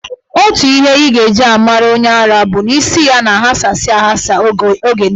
Otu ihe ị ga-eji mara onye ara bụ na isi ya na-aghasa aghasa oge niile.